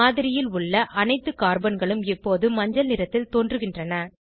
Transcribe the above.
மாதிரியில் உள்ள அனைத்து கார்பன்களும் இப்போது மஞ்சள் நிறத்தில் தோன்றுகின்றன